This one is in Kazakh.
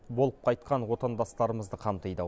болып қайтқан отандастарымызды қамтиды